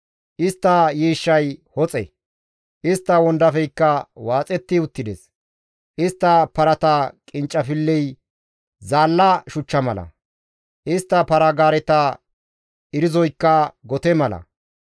Istta yiishshay hoxe; istta wondafeykka waaxetti uttides. Istta parata qinccafilley zaalla shuchcha mala; istta para-gaareta erzoykka gote mala.